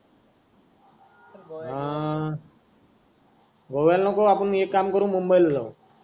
हा गोव्याला नको आपण एक काम करू मुंबईला जाऊ